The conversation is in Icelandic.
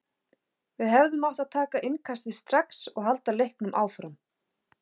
Við hefðum átt að taka innkastið strax og halda leiknum áfram.